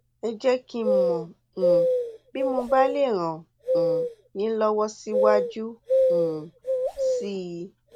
ẹ jẹ kí n mọ um bí mo bá lè ràn um yín lọwọ síwájú um sí i